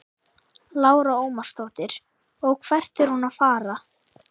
Lára Ómarsdóttir: Og hvert er hún að fara?